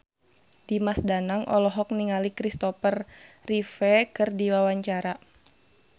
Dimas Danang olohok ningali Kristopher Reeve keur diwawancara